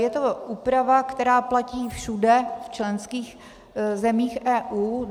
Je to úprava, která platí všude v členských zemích EU.